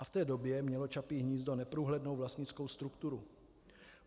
A v té době mělo Čapí hnízdo neprůhlednou vlastnickou strukturu.